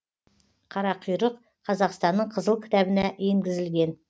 қарақұйрық қазақстанның қызыл кітабына енгізілген